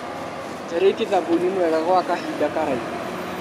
Njarĩtie thabuni mwega gwa kahinda karaihu.